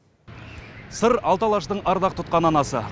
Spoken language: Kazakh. сыр алты алаштың ардақ тұтқан анасы